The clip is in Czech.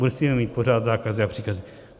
Musíme mít pořád zákazy a příkazy.